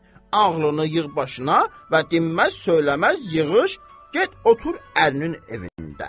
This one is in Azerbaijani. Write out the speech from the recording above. Ağlını yığ başına və dinməz-söyləməz yığış, get otur ərinin evində.